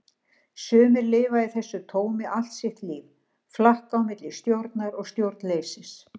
Sumir lifa í þessu tómi allt sitt líf, flakka á milli stjórnar og stjórnleysis.